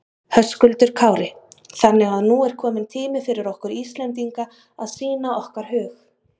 Höskuldur Kári: Þannig að nú er kominn tími fyrir okkur Íslendinga að sýna okkar hug?